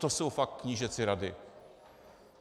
To jsou fakt knížecí rady.